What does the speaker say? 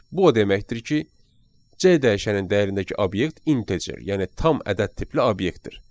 Bu o deməkdir ki, C dəyişənin dəyərindəki obyekt integer, yəni tam ədəd tipli obyektdir.